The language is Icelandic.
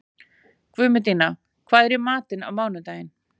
Guðmundína, hvað er í matinn á mánudaginn?